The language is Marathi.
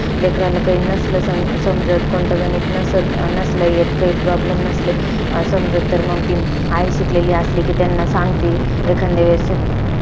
माझं नाव आहे पूजा मी आज तुम्हाला शेतकऱ्या बद्दल थोडं काही माहिती सांगणार आहे.